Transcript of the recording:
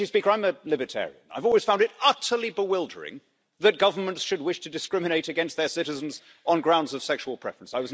I'm a libertarian I've always found it utterly bewildering that governments should wish to discriminate against their citizens on grounds of sexual preference.